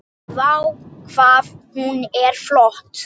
Vá, hvað hún er flott!